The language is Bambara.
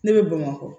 Ne bɛ bamakɔ